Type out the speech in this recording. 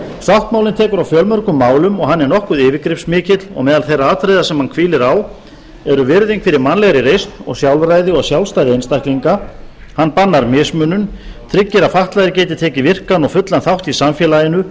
sáttmálinn tekur á fjölmörgum málum og hann er nokkuð yfirgripsmikill og meðal þeirra atriða sem hann hvílir á eru virðing fyrir mannlegri reisn og sjálfræði og sjálfstæði einstaklinga hann bannar mismunun tryggir að fatlaðir geti tekið virkan og fullan þátt í samfélaginu